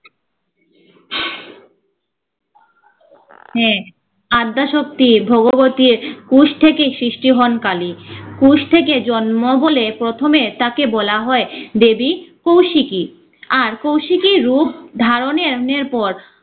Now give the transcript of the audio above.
হ্যা, অদ্দ্যাশক্তি ভগবতীর উশ থেকেই সৃষ্টি হন কালী। উশ থেকে জন্ম বলে প্রথমে তাকে বলা হয় দেবী কৌশিকী। আর কৌশিকী রূপ ধার ও নের পর